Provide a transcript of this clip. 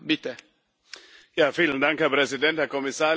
Herr Präsident, Herr Kommissar, liebe Kolleginnen, liebe Kollegen!